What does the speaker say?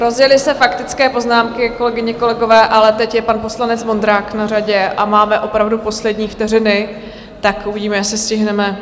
Rozjely se faktické poznámky, kolegyně, kolegové, ale teď je pan poslanec Vondrák na řadě a máme opravdu poslední vteřiny, tak uvidíme, jestli stihneme.